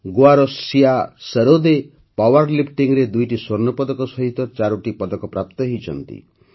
ଗୋଆର ସିୟା ସରୋଦେ ପାୱର liftingରେ ଦୁଇଟି ସ୍ୱର୍ଣ୍ଣପଦକ ସହିତ ଚାରୋଟି ପଦକ ପ୍ରାପ୍ତ ହୋଇଛନ୍ତି